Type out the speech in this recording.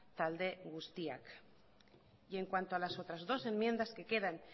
talde guztiak y en cuanto a las otras dos enmiendas que quedan